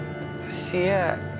sé